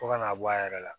Fo ka n'a bɔ a yɛrɛ la